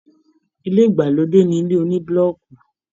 ilé ìgbàlódé ni ilé onibuloki.